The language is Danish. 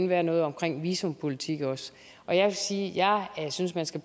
være noget omkring visumpolitik og og jeg vil sige at jeg synes man skal